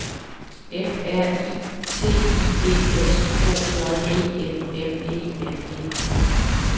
F R I T I D S H J E M M E N E